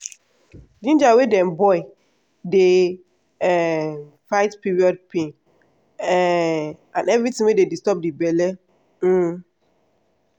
ginger wey dem boil dey um fight period pain um and anything wey dey disturb belle. um